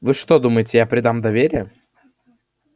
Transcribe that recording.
вы что думаете я предам доверие